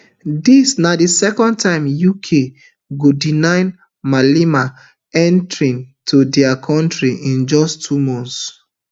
dis na di second time uk go deny malema entry to dia kontri in just two months